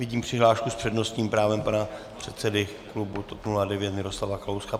Vidím přihlášku s přednostním právem pana předsedy klubu TOP 09 Miroslava Kalouska.